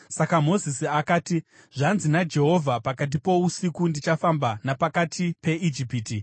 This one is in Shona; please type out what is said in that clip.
Saka Mozisi akati, “Zvanzi naJehovha: ‘Pakati pousiku ndichafamba napakati peIjipiti.